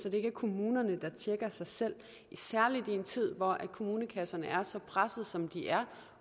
at det ikke er kommunerne der tjekker sig selv særlig i en tid hvor kommunekasserne er så pressede som de er